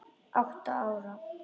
Átta ára